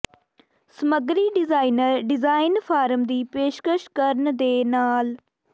ਸਮੱਗਰੀ designer design form ਦੀ ਪੇਸ਼ਕਸ਼ ਕਰਨ ਦੇ ਨਾਲ